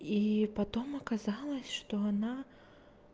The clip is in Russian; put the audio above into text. и потом оказалось что она